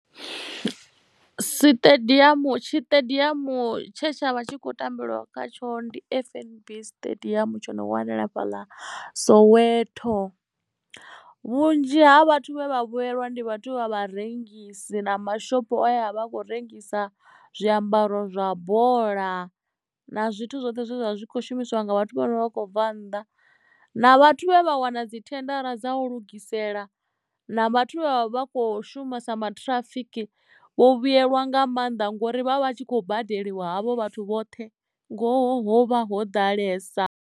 Siṱediamu tshiṱediamu tshe tsha vha tshi khou tambelwa kha tsho ndi F_N_B siṱediamu tsho no wanala fha ḽa soweto vhunzhi ha vhathu vhane vha vhuyelwa ndi vhathu vha vharengisi na mashopo a vha a kho rengisa zwiambaro zwa bola na zwithu zwoṱhe zwe zwa zwi kho shumisiwa nga vhathu vhane vha khou bva nnḓa na vhathu vhe vha wana dzi thendara dza u lugisela na vhathu vha vha kho shuma sa ṱhirafiki vho vhuyelwa nga maanḓa ngori vha vha vha tshi kho badeliwa havho vhathu vhoṱhe ngoho vha ho ḓalesa.